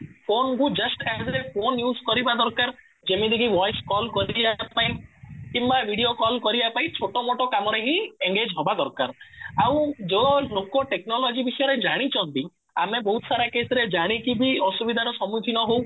ଯେମିତିକି voice call କରିବା ପାଇଁ କିମ୍ବା ଭିଡ଼ିଓ କଲ କରିବା ପାଇଁ ଛୋଟ ମୋଟ କାମରେ ହିଁ engage ହବା ଦରକାର ଆଉ ଯୋଉ ଲୋକ ଟେକ୍ନୋଲୋଜି ବିଷୟରେ ଜାଣିଛନ୍ତି ଆମେ ବହୁତ ସାରା କେସ ରେ ଜାଣିକି ବି ଅସୁବିଧାର ସମୁଖୀନ ହଉ